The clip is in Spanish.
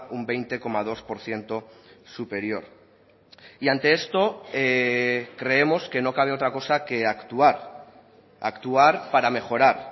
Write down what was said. un veinte coma dos por ciento superior y ante esto creemos que no cabe otra cosa que actuar actuar para mejorar